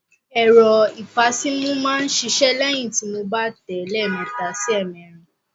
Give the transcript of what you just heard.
ẹrọ ìfàsímú máa ń ṣiṣẹh lẹyìn tí mo bá tẹ ẹ lẹẹmẹta sí ẹẹmẹrin